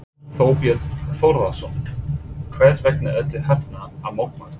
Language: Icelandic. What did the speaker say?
Þorbjörn Þórðarson: Hvers vegna ertu hérna að mótmæla?